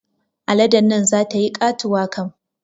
Aladen nan zata yi katuwa kam